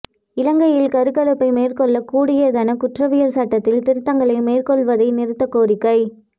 இலங்கையில் கருக்கலைப்பை மேற்கொள்ளக் கூடியதான குற்றவியல் சட்டத்தில் திருத்தங்களை மேற்கொள்ளுவதை நிறுத்த கோரிக்கை